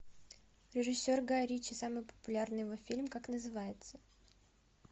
режиссер гай ричи самый популярный его фильм как называется